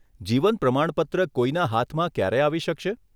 જીવન પ્રમાણપત્ર કોઈના હાથમાં ક્યારે આવી શકશે?